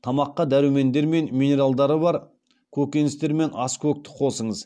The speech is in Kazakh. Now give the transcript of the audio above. тамаққа дәрумендер мен минералдары бар көкеністер мен аскөкті қосыңыз